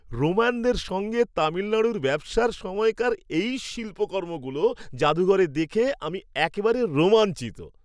রোমানদের সঙ্গে তামিলনাড়ুর ব্যবসার সময়কার এই শিল্পকর্মগুলো জাদুঘরে দেখে আমি একেবারে রোমাঞ্চিত।